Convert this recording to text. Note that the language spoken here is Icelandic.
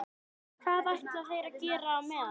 Og hvað ætla þeir að gera á meðan?